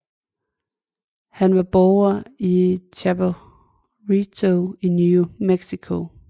Han var borger i Chaperito i New Mexico